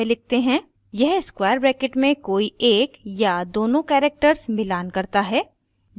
यह square brackets में कोई एक या दोनों characters मिलान करता है